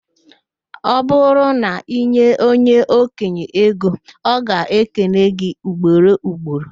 Ọ bụrụ na inye onye okenye ego, o ga-ekele gị ugboro ugboro